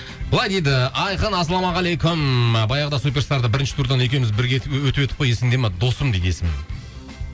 былай дейді айқын ассалаумағалейкум баяғыда супер старда бірінші турдан екеуміз бірге өтіп едік қой есіңде ме дейді досым дейді есімім